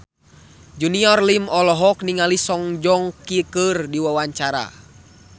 Junior Liem olohok ningali Song Joong Ki keur diwawancara